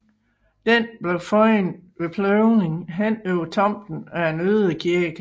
Den blev fundet ved pløjning henover tomten af en ødekirke